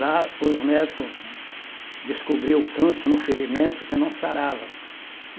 Lá, os médicos descobriam o câncer no ferimento que não sarava.